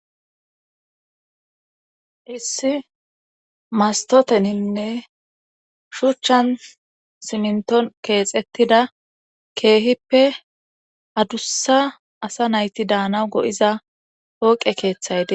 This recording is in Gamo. issi mastoteninne shuchchan sininton keexettida keehippe adussa asa nayti daana go7iza pooqe keeththayde